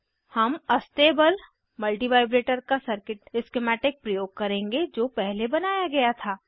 हम astable multivibrator का circuit schematic प्रयोग करेंगे जो पहले बनाया गया था